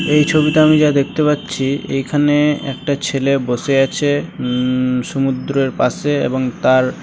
এই ছবিটা আমি যা দেখতে পাচ্ছি এখানে-নে একটা ছেলে বসে আছে । উম সমুদ্রের পাশে এবং তার--